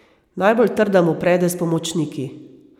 Najbolj trda mu prede s pomočniki.